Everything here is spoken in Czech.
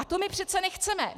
A to my přece nechceme.